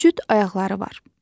Üç cüt ayaqları var.